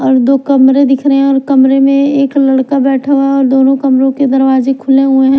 और दो कमरे दिख रहे है और कमरे में एक लड़का बैठा हुआ है और दोनों कमरे के दरवाजे खुले हुए हैं।